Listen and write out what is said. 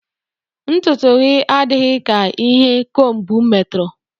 Ntụtụ gị adịghị ka ihe kombu metụrụ